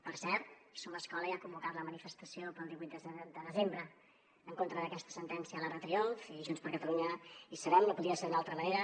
per cert somescola ja ha convocat la manifestació pel divuit de desembre en contra d’aquesta sentència a l’arc de triomf i junts per catalunya hi serem no podia ser d’una altra manera